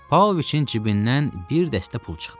Pauloviçin cibindən bir dəstə pul çıxdı.